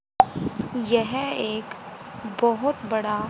यह एक बहोत बड़ा--